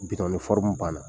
Bitɔn banna.